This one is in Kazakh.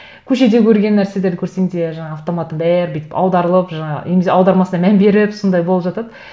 көшеде көрген нәрселерді көрсең де жаңағы автоматом бәрі бүйтіп аударылып жаңағы немесе аудармасына мән беріп сондай болып жатады